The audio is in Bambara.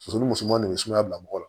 Muso ni musoman ne be sumaya bila mɔgɔ la